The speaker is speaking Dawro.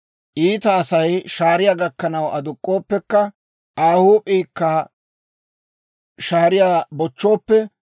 Iita Asay shaariyaa gakkanaw aduk'k'ooppekka, Aa huup'p'iikka shaariyaa bochchooppe,